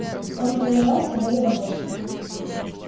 он повиновался воле богов